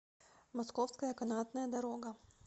московская канатная дорога